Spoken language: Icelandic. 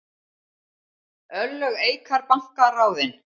Örlög Eikar banka ráðin